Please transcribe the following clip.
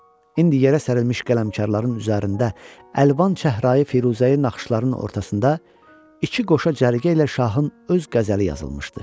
İndi yerə sərilmiş qələmkarların üzərində əlvan çəhrayı, firuzəyi naxışların ortasında iki qoşa cərgə ilə şahın öz qəzəli yazılmışdı.